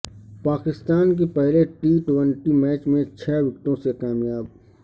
پاکستان کی پہلے T twenty match میں چھ وکٹوں سے کامیابی